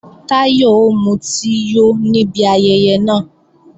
Táyọ̀ ó mutí yó níbi ayẹyẹ náà